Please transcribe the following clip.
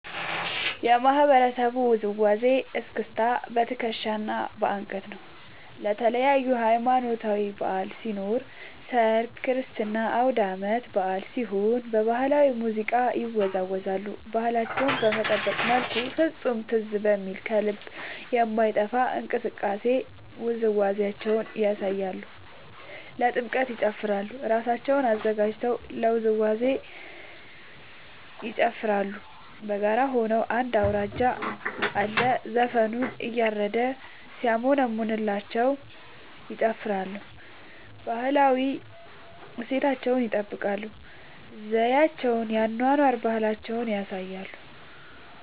የማህበረሰቡ ውዝዋዜ እስክስታ በትከሻ እና በአንገት ነው። ለተለያዪ ሀማኖታዊ በዐል ሲኖር ሰርግ ክርስትና አውዳመት በአል ሲሆን በባህላዊ ሙዚቃ ይወዛወዛሉ እና ባህላቸውን በጠበቀ መልኩ ፍፁም ትዝ በሚል ከልብ በማይጠፍ እንቅስቃሴ ውዝዋዜያቸውን ያሳያሉ። ለጥምቀት ይጨፉራሉ እራሳቸውን አዘጋጅተው ለውዝዋዜ ይጨፋራሉ በጋራ ሆነው አንድ አውራጅ አለ ዘፈኑን እያረደ ሲያሞነምንላቸው ይጨፍራሉ። ባህላዊ እሴታቸውን ይጠብቃል ዘዪቸውን የአኗኗር ባህላቸውን ያሳያሉ።